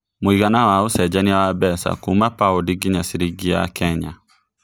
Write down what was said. mũigana wa ũcenjanĩa mbeca Kuma paũndi ngĩnya ciringi ya Kenya